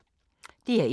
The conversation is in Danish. DR1